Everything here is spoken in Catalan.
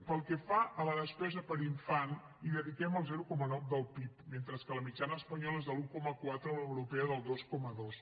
pel que fa a la despesa per infant hi dediquem el zero coma nou del pib mentre que la mitjana espanyola és de l’un coma quatre o l’europea del dos coma dos